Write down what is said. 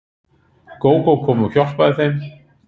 Gógó kom og hjálpaði þeim.